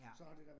Ja